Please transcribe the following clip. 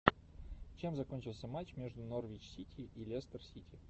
чем закончился матч между норвич сити и лестер сити